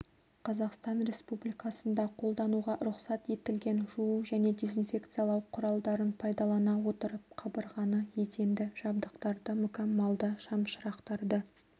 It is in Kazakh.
қазақстан республикасында қолдануға рұқсат етілген жуу және дезинфекциялау құралдарын пайдалана отырып қабырғаны еденді жабдықтарды мүкәммалды шамшырақтарды